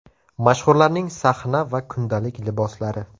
Mashhurlarning sahna va kundalik liboslari .